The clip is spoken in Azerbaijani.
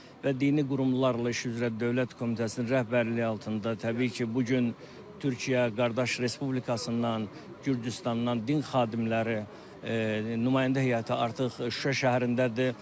Və dini qurumlarla iş üzrə Dövlət Komitəsinin rəhbərliyi altında təbii ki, bu gün Türkiyə qardaş Respublikasından, Gürcüstandan din xadimləri, nümayəndə heyəti artıq Şuşa şəhərindədir.